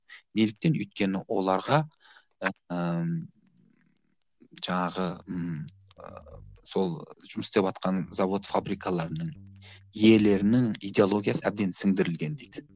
неліктен өйткені оларға ыыы жаңағы ммм ыыы сол жұмыс істеватқан завод фабрикаларының иелерінің идеологиясы әбден сіңдірілген дейді